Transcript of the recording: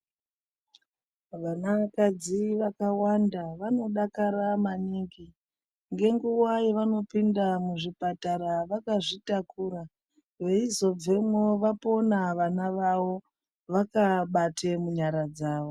Vanakadzi vakawanda vanodakara maningi ngenguwa yavanopinda muzvipatara vakazvitakura veizobvemwo vapona vana vavo vakaabate munyara dzavo.